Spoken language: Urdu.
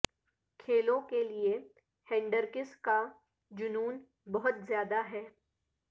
کھیلوں کے لیے ہینڈرکس کا جنون بہت زیادہ ہے